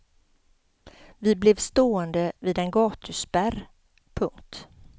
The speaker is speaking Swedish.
Vi blev stående vid en gatuspärr. punkt